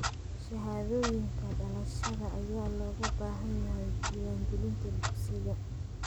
Shahaadooyinka dhalashada ayaa looga baahan yahay diiwaangelinta dugsiga.